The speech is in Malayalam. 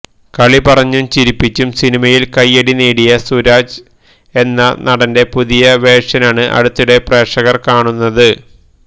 കളിപറഞ്ഞും ചിരിപ്പിച്ചും സിനിമയില് കൈയടിനേടിയ സുരാജ് എന്ന നടന്റെ പുതിയ വേര്ഷനാണ് അടുത്തിടെ പ്രേക്ഷകര് കാണുന്നത്